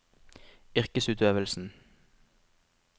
yrkesutøvelsen